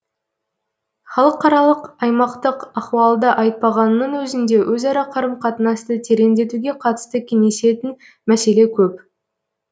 халықаралық аймақтық ахуалды айтпағанның өзінде өзара қарым қатынасты тереңдетуге қатысты кеңесетін мәселе көп